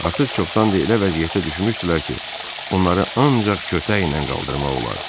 Artıq çoxdan da elə vəziyyətə düşmüşdülər ki, onları ancaq kötəklə qaldırmaq olardı.